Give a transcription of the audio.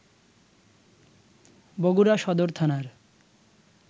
বগুড়া সদর থানার